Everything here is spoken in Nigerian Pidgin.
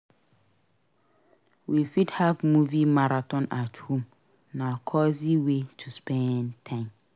We fit have movie marathon at home; na cozy way to spend time.